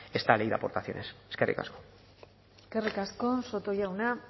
esta ley de aportaciones eskerrik asko eskerrik asko soto jauna